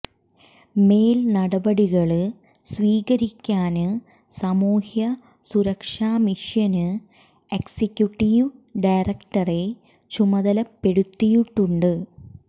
മേല് നടപടികള് സ്വീകരിക്കാന് സാമൂഹ്യ സുരക്ഷ മിഷന് എക്സിക്യുട്ടീവ് ഡയറക്ടറെ ചുമതലപ്പെടുത്തിയിട്ടുണ്ട്